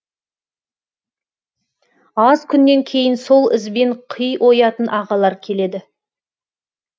аз күннен кейін сол ізбен қи оятын ағалар келеді